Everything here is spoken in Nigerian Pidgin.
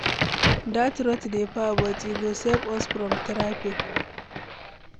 Dat route dey far but e go save us from traffic.